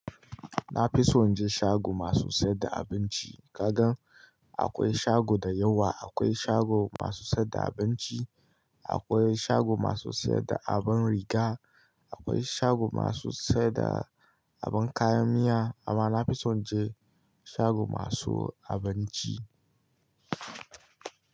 Na fi son je shago masu siyar da abinci. Kagan akwai shago dayawa, akwai shago masu siyar da abinci, akwai shago masu siyar da abin riga, akwai shago masu siyar da abin kayan miya amma na fi son je shago masu abinci.